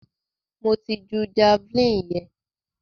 Mo ti ju javeline yẹn.